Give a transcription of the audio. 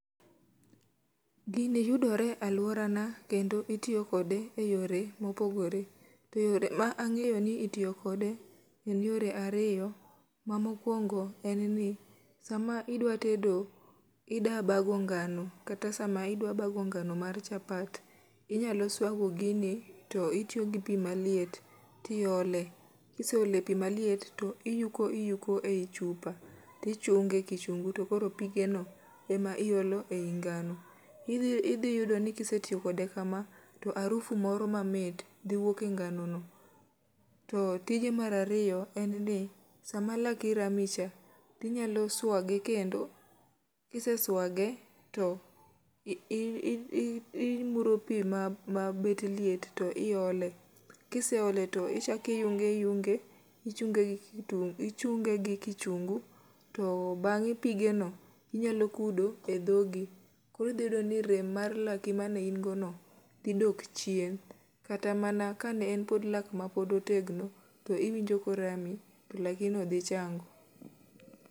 Gini yudore e alworana kendo itiyo kode e yore mopogore. To yore ma angéyo ni itiyo kode, gin yore ariyo, ma mokwongo en ni, sama idwa tedo, idwa bago ngano, kata sama idwa bago ngano mar chapat, inya swago gini to itiyo gi pi maliet, tiole. Kiseole pi maliet, to iyuko iyuko ei chupa, to ichunge e kichungu, to koro pigeno ema iolo ei ngáno. Idhi yudo ni kisetiyo kode kama, to harufu moro mamit dhi wuok e ngano no. To tije mar ariyo en ni, sama laki rami cha, to inyalo swage kendo. Kiseswage, to i i i imuro pi ma ma bet liet to iole. Kiseole to ichak iyunge iyunge michunge gi kitungu, ichunge gi kichungu. To bangé pige no, inyalo kudo e dhogi. Koro idhi yudo ni rem mar laki mane in godo no, dhi dok chien. Kata mana ka ne en pod lak ma pod otegno to iwinjo korami, to laki no dhi chango.